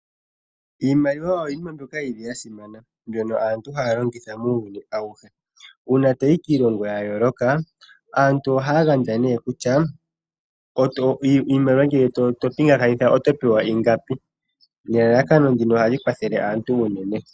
Iimaliwa yili yasimana mbyono aantu haya longitha muuyuni awuhe. Uuna toyi kiilongo ya yooloka aantu ohaya gandja nee kutya iimaliwa ngele to pingekanitha otopewa ingapi nelalakano ndino ohali kwathele aantu unene.